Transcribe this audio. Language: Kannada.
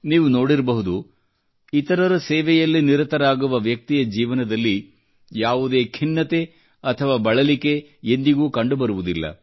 ನೀವು ನೋಡಿರಬಹುದು ಇತರರ ಸೇವೆಯಲ್ಲಿ ನಿರತರಾಗುವ ವ್ಯಕ್ತಿಯ ಜೀವನದಲ್ಲಿ ಯಾವುದೇ ಖಿನ್ನತೆ ಅಥವಾ ಬಳಲಿಕೆ ಎಂದಿಗೂ ಕಂಡುಬರುವುದಿಲ್ಲ